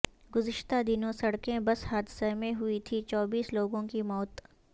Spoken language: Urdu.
گزشتہ دنوں سڑکیں بس حادثہ میں ہوئی تھی چوبیس لوگوں کی موت